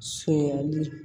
Sɛli